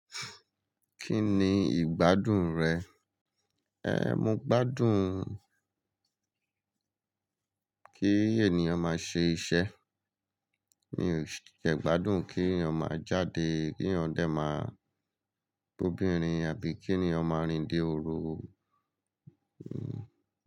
Kí ni ìgbádùn rẹ? Ehn, mo gbádùn kí ènìyàn máa ṣe iṣẹ́. Mi ò ṣe gbádùn kí èyan máa jáde, kí ènìyàn dé máa gbe obirin àbí kí ènìyàn máa rìn dé òru.